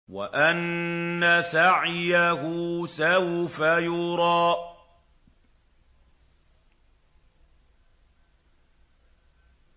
وَأَنَّ سَعْيَهُ سَوْفَ يُرَىٰ